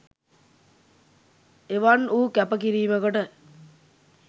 එවන් වූ කැප කිරීමකට